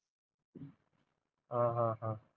अं ह ह